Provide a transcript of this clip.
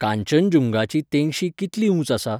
कांचनजुंगाची तेंगशी कितली ऊंच आसा?